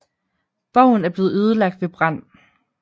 Borgen er blevet ødelagt ved brand